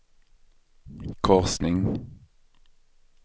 korsning